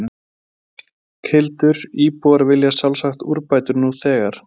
Berghildur, íbúar vilja sjálfsagt úrbætur nú þegar?